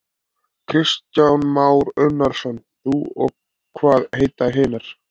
Kristján Már Unnarsson: Þú og hvað heita hinar?